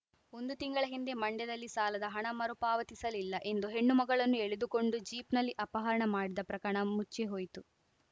ಒಂದು ತಿಂಗಳ ಹಿಂದೆ ಮಂಡ್ಯದಲ್ಲಿ ಸಾಲದ ಹಣ ಮರುಪಾವತಿಸಲಿಲ್ಲ ಎಂದು ಹೆಣ್ಣು ಮಗಳನ್ನು ಎಳೆದುಕೊಂಡು ಜೀಪ್‌ನಲ್ಲಿ ಅಪರಣ ಮಾಡಿದ ಪ್ರಕರಣ ಮುಚ್ಚಿ ಹೋಯಿತು